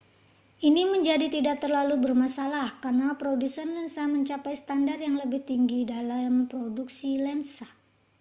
ini menjadi tidak terlalu bermasalah karena produsen lensa mencapai standar yang lebih tinggi dalam produksi lensa